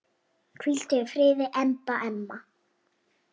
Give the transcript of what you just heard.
Hvíldu í friði, Imba amma.